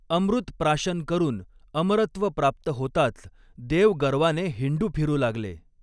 अमृत प्राशन करून अमरत्व प्राप्त होताच देव गर्वाने हिंडू फिरू लागले.